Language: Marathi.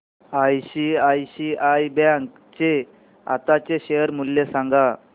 आयसीआयसीआय बँक चे आताचे शेअर मूल्य सांगा